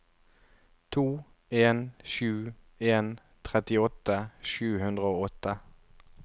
to en sju en trettiåtte sju hundre og åtte